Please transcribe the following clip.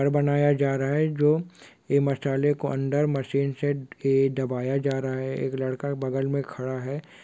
घर बनाया जा रहा है जो यह मसाले को अंदर मशीन से दबाया जा रहा है। एक लड़का बगल में खड़ा है।